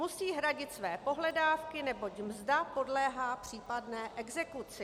Musí hradit své pohledávky, neboť mzda podléhá případné exekuci.